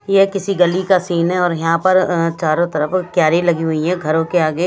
ये किसी गली का सीन है और यहां पर अ चारों तरफ क्यारी लगी हुई है घरों के आगे।